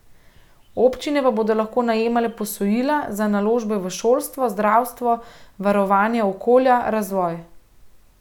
Občine pa bodo lahko najemale posojila za naložbe v šolstvo, zdravstvo, varovanje okolja, razvoj.